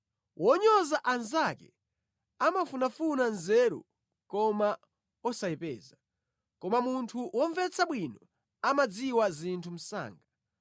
Wonyoza anzake amafunafuna nzeru koma osayipeza, koma munthu womvetsa bwino amadziwa zinthu msanga.